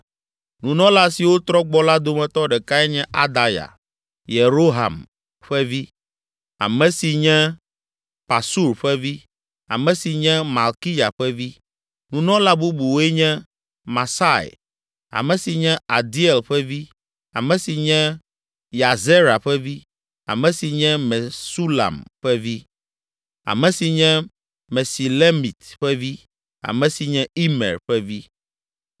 Nunɔla siwo trɔ gbɔ la dometɔ ɖekae nye Adaya, Yeroham ƒe vi, ame si nye Pasur ƒe vi, ame si nye Malkiya ƒe vi. Nunɔla bubuwoe nye: Masai, ame si nye Adiel ƒe vi, ame si nye Yahzera ƒe vi, ame si nye Mesulam ƒe vi, ame si nye Mesilemit ƒe vi, ame si nye Imer ƒe vi.